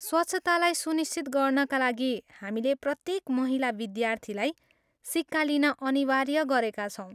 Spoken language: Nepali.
स्वच्छतालाई सुनिश्चित गर्नाका लागि, हामीले प्रत्यक महिला विद्यार्थीलाई सिक्का लिन अनिवार्य गरेका छौँ।